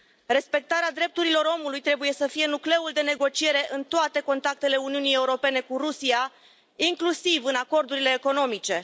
Respectarea drepturilor omului trebuie să fie nucleul de negociere în toate contactele Uniunii Europene cu Rusia, inclusiv în acordurile economice.